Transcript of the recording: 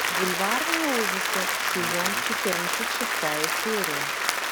бульварные ужасы сезон четырнадцать шестая серия